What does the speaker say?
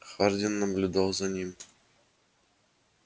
хардин наблюдал за ним